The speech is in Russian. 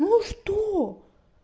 ну что